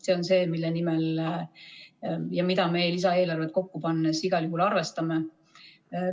See on see, mille nimel ja mida me lisaeelarvet kokku pannes igal juhul arvestame.